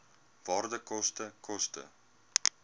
waarde koste koste